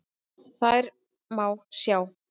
Þær má sjá